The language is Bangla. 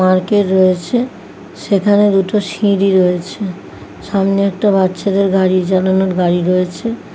রয়েছে সেখানে দুটো সিঁড়ি রয়েছে সামনে একটা বাচ্চাদের গাড়ি গাড়ি রয়েছে।